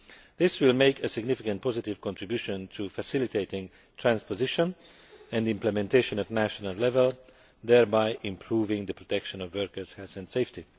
This will make a significant and positive contribution in facilitating transposition and implementation at national level, thereby improving the protection of workers' health and safety.